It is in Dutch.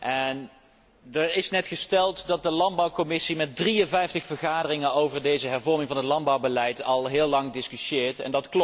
er is net gesteld dat de landbouwcommissie met 53 vergaderingen over deze hervorming van het landbouwbeleid al heel lang discussieert, en dat klopt.